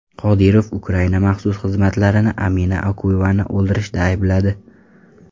Qodirov Ukraina maxsus xizmatlarini Amina Okuyevani o‘ldirishda aybladi.